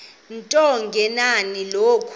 into engenani nokuba